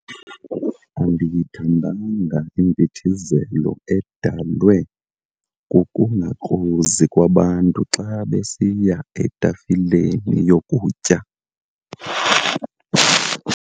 Andiyithandanga impithizelo edalwe kukungakrozi kwabantu xa besiya etafileni yokutya.